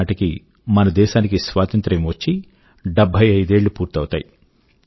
2022 నాటికి మన దేశాని కి స్వాతంత్రం వచ్చి 75 ఏళ్ళు పూర్తవుతాయి